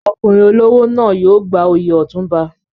Ọkùnrin olówó náà yóò gba oyè Otunba.